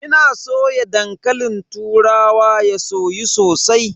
Ina soya dankalin turawa ya soyu sosai.